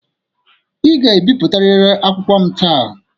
Ị ga-ebipụtarịrị akwụkwọ m taa.